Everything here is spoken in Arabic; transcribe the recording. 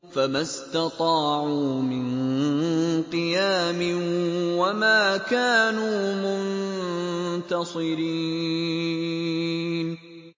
فَمَا اسْتَطَاعُوا مِن قِيَامٍ وَمَا كَانُوا مُنتَصِرِينَ